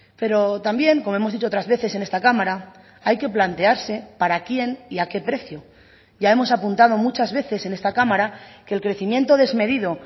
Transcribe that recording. pero también como hemos dicho otras veces en esta cámara hay que plantearse para quién y a qué precio ya hemos apuntado muchas veces en esta cámara que el crecimiento desmedido